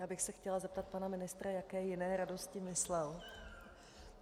Já bych se chtěla zeptat pana ministra, jaké jiné radosti myslel.